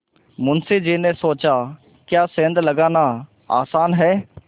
मुंशी जी ने सोचाक्या सेंध लगाना आसान है